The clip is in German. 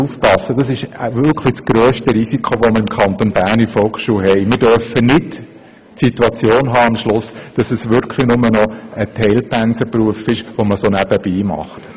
Wir müssen wirklich aufpassen, damit wir nicht am Schluss die Situation haben, dass es wirklich nur noch ein Teilpensenberuf ist, den man so nebenbei macht.